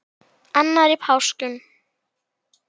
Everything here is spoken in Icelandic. annar í páskum